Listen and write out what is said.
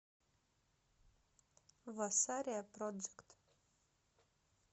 васария проджект